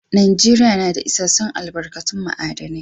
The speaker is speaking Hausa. Najeriya na da isassun albarkatun ma'adinai.